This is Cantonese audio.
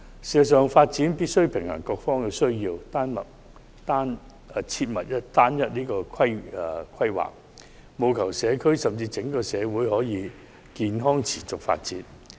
事實上，發展必須平衡各方的需要，規劃時切忌側重某一方，否則社區甚至整個社會難以健康持續地發展。